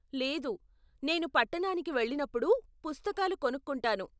లేదు, నేను పట్టణానికి వెళ్ళినప్పుడు పుస్తకాలు కొనుక్కుంటాను.